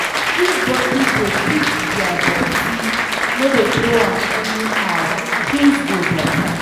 If everybody dey pick dia dirty, no dey throw am anyhow, things go beta